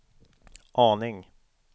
aning